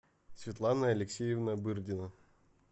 светлана алексеевна бырдина